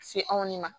Se anw ne ma